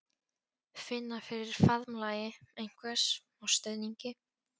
Finna fyrir faðmlagi einhvers og stuðningi.